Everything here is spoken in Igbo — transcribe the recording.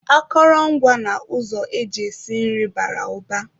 Akụrọngwa na ụzọ eji esi nri bara ụba